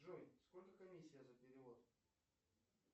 джой сколько комиссия за перевод